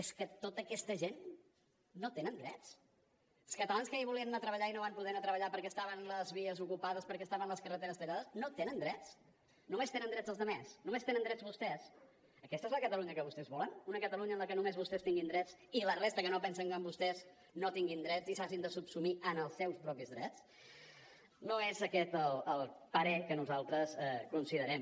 és que tota aquesta gent no tenen drets els catalans que ahir volien anar a treballar i no van poder anar a treballar perquè estaven les vies ocupades perquè estaven les carreteres tallades no tenen drets només tenen drets els altres només tenen drets vostès aquesta és la catalunya que vostès volen una catalunya en la que només vostès tinguin drets i la resta que no pensen com vostès no tinguin drets i s’hagin de subsumir en els seus propis drets no és aquest el parer que nosaltres considerem